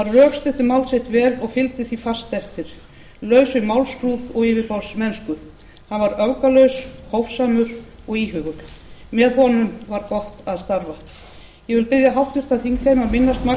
rökstuddi mál sitt vel og fylgdi því fast eftir laus við málskrúð og yfirborðsmennsku hann var öfgalaus hófsamur og íhugull með honum var gott að starfa ég vil biðja háttvirtan þingheim að minnast magnúsar h magnússonar með því að